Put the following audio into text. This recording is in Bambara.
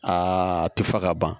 Aa tufa ka ban